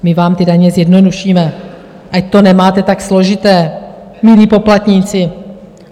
My vám ty daně zjednodušíme, ať to nemáte tak složité, milí poplatníci.